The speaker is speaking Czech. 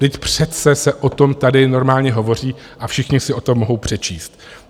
Vždyť přece se o tom tady normálně hovoří a všichni si o tom mohou přečíst.